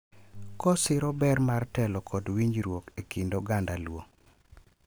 Kosiro ber mar telo kod winjruok e kind oganda Luo.